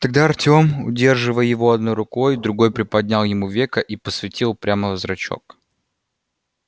тогда артём удерживая его одной рукой другой приподнял ему веко и посветил прямо в зрачок